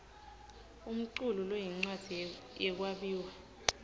umculu loyincwadzi yekwabiwa